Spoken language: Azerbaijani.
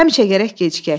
Həmişə gərək gecikək.